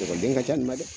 Ekɔliden ka ca ni dɛ